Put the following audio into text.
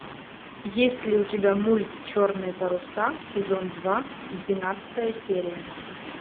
есть ли у тебя мульт черные паруса сезон два двенадцатая серия